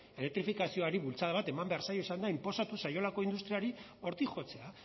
elektrifikazioari bultzada bat eman behar zaio inposatu zaiolako industriari hortik jotzea